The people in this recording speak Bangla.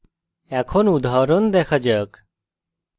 এখন উদাহরণ দেখা যাক